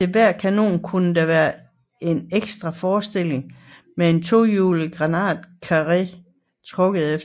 Til hver kanon kunne der være en ekstra forstilling med en tohjulet granatkarre trukket efter